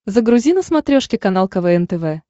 загрузи на смотрешке канал квн тв